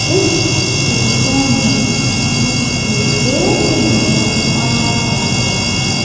इस फोटो में मुझे गेट नजर आ रहा है।